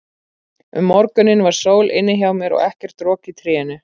Um morguninn var sól inni hjá mér og ekkert rok í trénu.